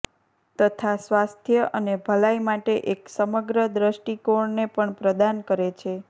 તથા સ્વાસ્થ્ય અને ભલાઇ માટે એક સમગ્ર દ્રષ્ટિકોણને પણ પ્રદાન કરે છે